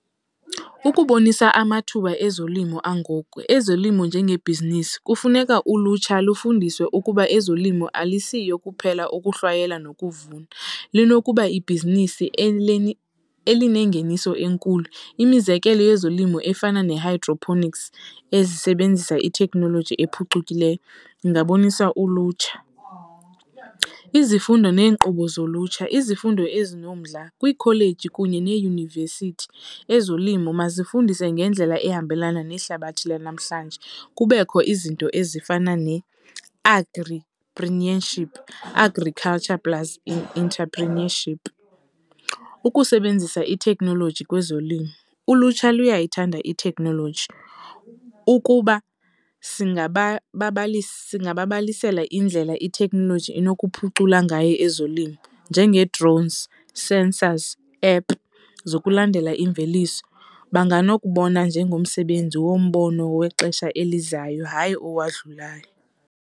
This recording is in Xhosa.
Ukubonisa amathuba ezolimo angoku ezolimo njengebhizinisi, kufuneka ulutsha lufundiswe ukuba ezolimo alisiyo kuphela ukuhlwayela nokuvuna lunokuba ibhizinisi elinengeniso enkulu. Imizekelo yezolimo efana nee-hydroponics ezisebenzisa itheknoloji ephucukileyo ingabonisa ulutsha. Izifundo neenkqubo zolutsha, izifundo ezinomdla kwiikholeji neeyunivesithi, ezolimo mazifundise ngendlela ehambelana nehlabathi lanamhlanje. Kubekho izinto ezifana ne-agripreneurship, agriculture plus intrepreneurship. Ukusebenzisa itekhnoloji kwezolimo, ulutsha luyayithanda itheknoloji, ukuba singababalisela indlela itheknoloji enokuphucula ngayo ezolimo, njengee-drones, sensors, app zokulandela imveliso banganokubona njengomsebenzi wombono wexesha elizayo hayi owadlulayo.